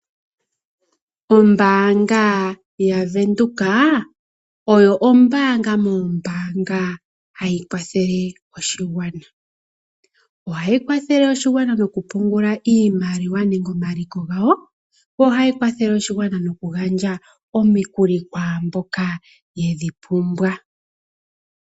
Ombaanga yaWindhoek , oyo ombaanga moombaanga, ha yi kwathele oshigwana. Oha yi kwathele oshigwana okupungula iimaliwa nenge omaliko gawo. Oha yi kwathele oshigwana noku gandja omikuli kwaamboka ypumbwa.